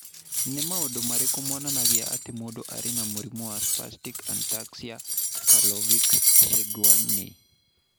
Nĩ maũndũ marĩkũ monanagia atĩ mũndũ arĩ na mũrimũ wa Spastic ataxia Charlevoix Saguenay?